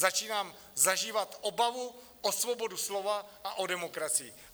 Začínám zažívat obavu o svobodu slova a o demokracii.